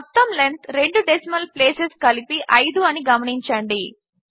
మొత్తం లెంత్ రెండు decimal places కలిపి అయిదు అని గమనించండి